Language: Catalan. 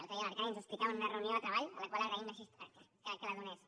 l’altre dia l’arcadi ens ho explicava en una reunió de treball al qual agraïm que la donés